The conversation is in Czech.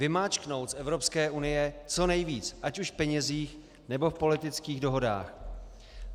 Vymáčknout z Evropské unie co nejvíc, ať už v penězích, nebo v politických dohodách.